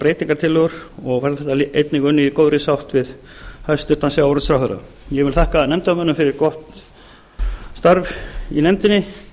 breytingartillögur og einnig unnið í góðri sátt við hæstvirtan sjávarútvegsráðherra ég vil þakka nefndarmönnum fyrir gott starf í nefndinni